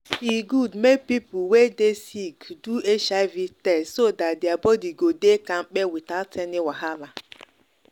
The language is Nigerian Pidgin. e good make people wey dey sick do hiv test so that their body go dey kampe without any wahala.